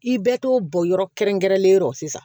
I bɛ t'o bɔn yɔrɔ kɛrɛn-kɛrɛnlen yɔrɔ sisan